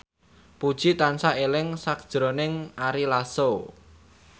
Puji tansah eling sakjroning Ari Lasso